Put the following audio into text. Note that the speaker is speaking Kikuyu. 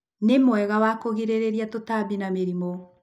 nĩmwega wa kũgirĩria tũtambi na mĩrĩmũ.